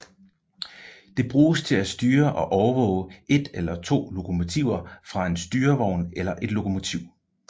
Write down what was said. Det bruges til at styre og overvåge et eller to lokomotiver fra en styrevogn eller et lokomotiv